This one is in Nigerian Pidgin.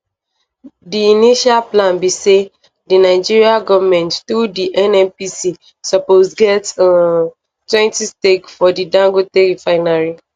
di initial plan be say di nigeria goment through di nnpc suppose get [um]twentystake for di dangote refinery